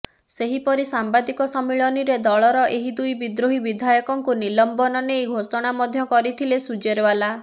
ସେହିପରି ସାମ୍ବାଦିକ ସମ୍ମିଳନୀରେ ଦଳର ଏହି ଦୁଇ ବିଦ୍ରୋହୀ ବିଧାୟକଙ୍କୁ ନିଲମ୍ବନ ନେଇ ଘୋଷଣା ମଧ୍ୟ କରିଥିଲେ ସୁର୍ଜେୱାଲା